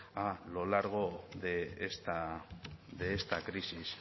a lo largo de esta crisis